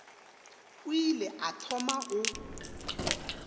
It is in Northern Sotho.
o ile a thoma go